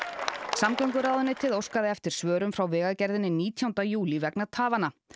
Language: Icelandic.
samgönguráðuneytið óskaði eftir svörum frá Vegagerðinni nítjánda júlí vegna tafanna